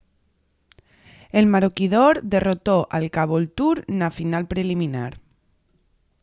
el maroochydore derrotó al caboolture na final preliminar